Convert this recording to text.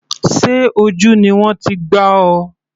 Sé ojú ni wọ́n ti gbá ọ?